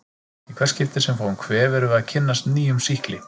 Í hvert skipti sem við fáum kvef erum við að kynnast nýjum sýkli.